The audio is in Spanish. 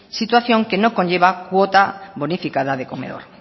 situación que no conlleva cuota bonificada de comedor